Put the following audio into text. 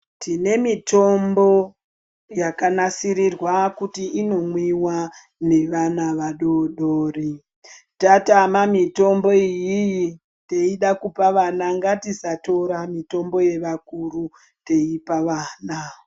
Tine mitombo yakanasirirwa kuti inomwiwa nevana vadoodori. Tatama mitombo iyiyi teida kupa vana, ngatisatora mitombo iyi yevakuru teipa vana.